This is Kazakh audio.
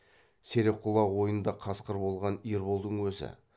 серек құлақ ойнында қасқыр болған ерболдың өзі